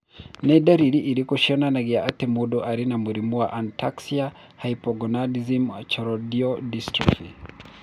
Nĩ ndariri irĩkũ cionanagia atĩ mũndũ arĩ na mũrimũ wa Ataxia hypogonadism choroidal dystrophy?